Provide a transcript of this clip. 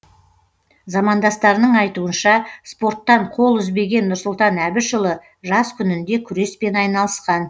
замандастарының айтуынша спорттан қол үзбеген нұрсұлтан әбішұлы жас күнінде күреспен айналысқан